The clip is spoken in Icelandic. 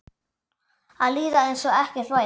Að líða einsog ekkert væri.